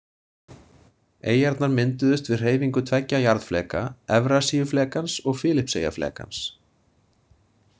Eyjarnar mynduðust við hreyfingu tveggja jarðfleka, Evrasíuflekans og Filippseyjaflekans.